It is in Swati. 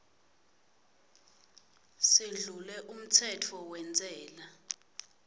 schedule umtsetfo wentsela